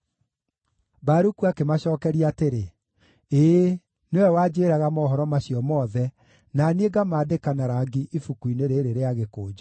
Baruku akĩmacookeria atĩrĩ, “Ĩĩ, nĩwe wanjĩĩraga mohoro macio mothe, na niĩ ngamaandĩka na rangi ibuku-inĩ rĩĩrĩ rĩa gĩkũnjo.”